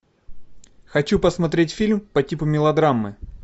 хочу посмотреть фильм по типу мелодрамы